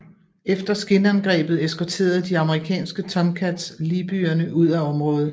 Efter skinangrebet eskorterede de amerikanske Tomcats libyerne ud af området